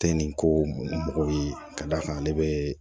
Tɛ nin ko mɔgɔw ye ka d'a kan ale bɛ